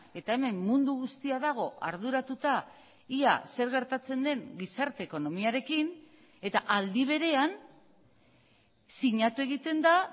eta hemen mundu guztia dago arduratuta ia zer gertatzen den gizarte ekonomiarekin eta aldi berean sinatu egiten da